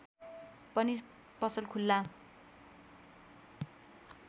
पनि पसल खुल्ला